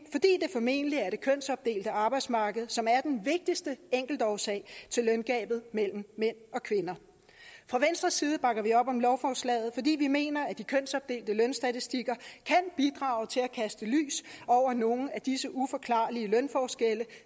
det formentlig er det kønsopdelte arbejdsmarked som er den vigtigste enkeltårsag til løngabet mellem mænd og kvinder fra venstres side bakker vi op om lovforslaget fordi vi mener at de kønsopdelte lønstatistikker kan bidrage til at kaste lys over nogle af disse uforklarlige lønforskelle